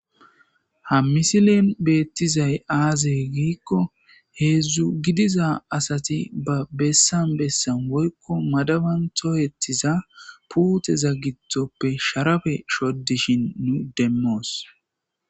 ha misilen beettizay aaze giikko heedzdzu gidiza asati ba bessan bessan woykko madaban tohettiza puuteza gittoppe sharabe shodishin nu demmoos